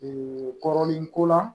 Ee kɔrɔlen ko la